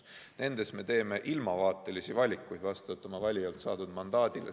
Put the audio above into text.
Nendes komisjonides me teeme ilmavaatelisi valikuid vastavalt oma valijalt saadud mandaadile.